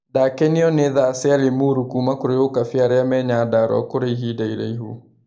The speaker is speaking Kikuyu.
Ndanakenio nĩ tha cĩa Limuru kũrĩ Ukabi arĩa me Nyandarua kũrĩ ihinda iraihu.